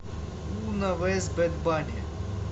уна вэз бэд банни